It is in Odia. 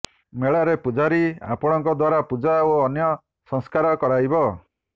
ମେଳାରେ ପୂଜାରୀ ଆପଣଙ୍କ ଦ୍ୱାରା ପୂଜା ଓ ଅନ୍ୟ ସଂସ୍କାର କରାଇବ